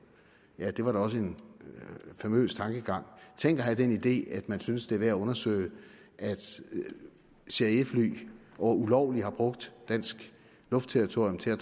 ja det var da også en famøs tankegang tænk at have den idé at man syntes det værd at undersøge om cia fly ulovligt har brugt dansk luftterritorium til